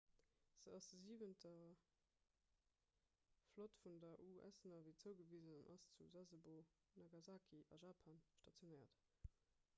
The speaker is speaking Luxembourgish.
se ass der siwenter flott vun der us navy zougewisen an ass zu sasebo nagasaki a japan stationéiert